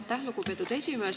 Aitäh, lugupeetud esimees!